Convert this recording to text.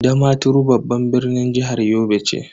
Damaturu babban birnin jihar Yobe ce.